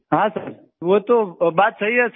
हाँ सर वो तो बात सही है सर